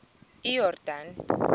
iyordane